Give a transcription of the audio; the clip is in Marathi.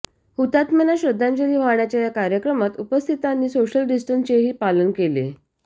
हुताम्यांना श्रंद्धांजली वाहण्याच्या या कार्यक्रमात उपस्थितांनी सोशल डिस्टन्सिंगचेही पालन केले